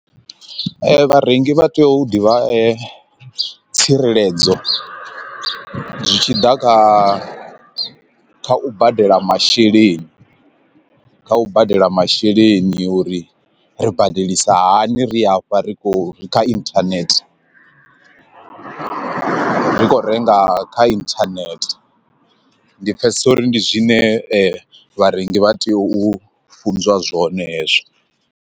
Vharengi vha tea u ḓivha tsireledzo zwi tshi ḓa kha u badela masheleni kha u badela masheleni uri ri badelisa hani ri afha ri khou ri kha internet, ri kho renga kha internet, ndi pfhesesa uri ndi zwine vharengi vha tea u funzwa zwone hezwo.